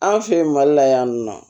An fɛ yen mali la yan nɔ